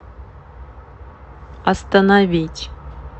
остановить